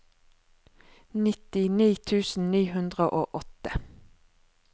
nittini tusen ni hundre og åtte